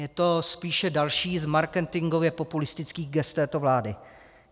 Je to spíše další z marketingově populistických gest této vlády.